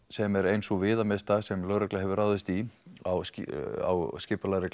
sem er ein sú viðamesta sem lögregla hefur ráðist í á á skipulagðri